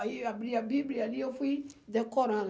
Aí eu abri a Bíblia ali e eu fui decorando.